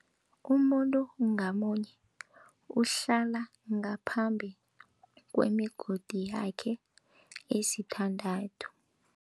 Umuntu ngamunye uhlala ngaphambi kwemigodi yakhe esithandathu.